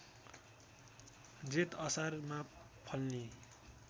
जेठ असारमा फल्ने